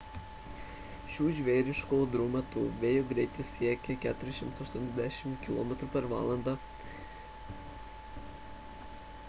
šių žvėriškų audrų metu vėjo greitis siekia 480 km/h 133 m/s; 300 mph